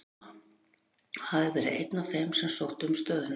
Mamma, og hafði verið einn af þeim sem sóttu um stöðuna.